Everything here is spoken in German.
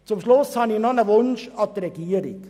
Zum Schluss habe ich noch einen Wunsch an die Regierung: